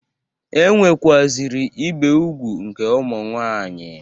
E nwekwaziri ibe ugwu nke ụmụ nwaanyị.